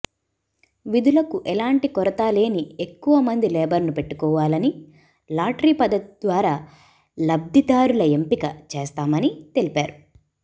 విధులకు ఏలాంటి కొరత లేని ఎక్కువ మంది లేబరును పెట్టుకోవాలని లాటరీ పద్దతి ద్వారా లబ్ధిదారుల ఎంపిక చేస్తామని తెలిపారు